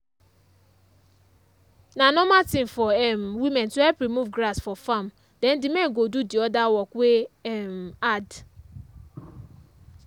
na normal thing for um women to help remove grass for farm then the men go do the other work wey um hard.